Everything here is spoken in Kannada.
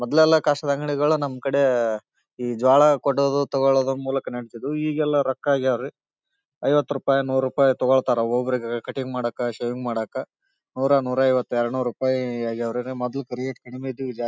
ಮೊದಲೆಲ್ಲ ಕಸದ ಅಂಗಡಿಗಳು ನಮ್ ಕಡೆ ಈ ಜೋಳ ಕೊಡೋದು ತಗೋಳೋದು ಮೂಲಕ ನಡಿತಿದ್ವು ಈಗ ಎಲ್ಲ ರೊಕ್ಕ ಆಗ್ಯಾವ ರೀ ಐವತು ರೂಪಾಯ್ ನೂರು ರೂಪಾಯ್ ತಗೋಳ್ತಾರಾ ಒಬ್ಬ್ ಒಬ್ಬರಿಗಾ ಕಟಿಂಗ್ ಮಾಡೊಕ್ಕಾ ಶೇವಿಂಗ್ ಮಾಡೊಕ್ಕಾ ನುರ ನುರೈವತ್ತ ಎರಡ್ನೊರು ರುಪೈಯ ಆಗ್ಯಾವ್ರಿ ಮೊದಲ ಫ್ರಿ .]